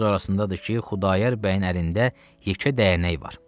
Söz arasındadır ki, Xudayar bəyin əlində yekə dəyənək var.